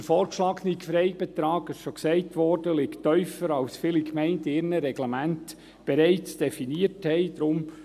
Der vorgeschlagene Freibetrag – dies wurde schon gesagt – liegt tiefer, als er in vielen Gemeinden in ihren Reglementen definiert wurde.